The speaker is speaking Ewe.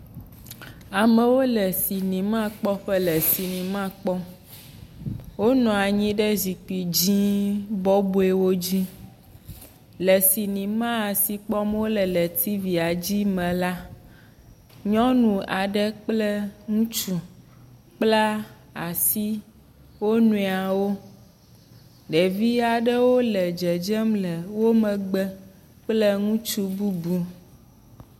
Amewo le cinimakpɔƒe le cinema kpɔm. wonɔ anyi ɖe zikpui dzi bɔbɔewo dzi. Le cinema si kpɔm wole le tivia dzi me la, nyɔnu aɖe kple ŋutsu kpla asi wo nɔewo. Ɖevi aɖewo le dzedzem le wo megbe kple ŋutsu bubu.